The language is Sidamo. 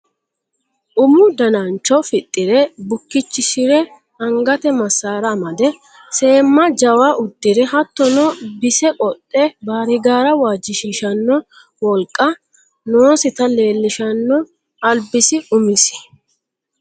Umu danancho fixire bukkichishire angate masara amade seemma jawa udire hattono bise qodhe baarigara waajjishshishano wolqa noositta leellishano albisi umisi.